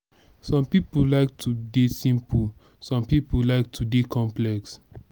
some pipo like to de simple some pipo like to de complex